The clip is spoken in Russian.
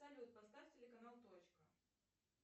салют поставь телеканал точка